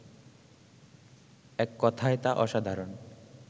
এক কথায় তা অসাধারণ